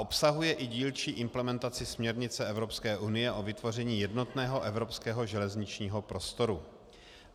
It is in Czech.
Obsahuje i dílčí implementaci směrnice Evropské unie o vytvoření jednotného evropského železničního prostoru.